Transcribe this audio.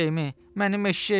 Mənim eşşəyimi!